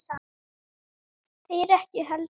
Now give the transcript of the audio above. Þeir ekki heldur.